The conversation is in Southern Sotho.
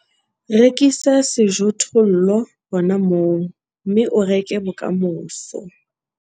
Rekisa sejothollo hona moo, mme o reke bokamoso